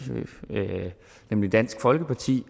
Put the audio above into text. nemlig dansk folkeparti